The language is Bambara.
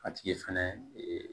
A tigi fɛnɛ ee